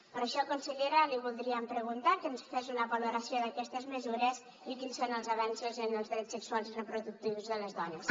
per això consellera li voldríem preguntar que ens fes una valoració d’aquestes mesures i quins són els avenços en els drets sexuals i reproductius de les dones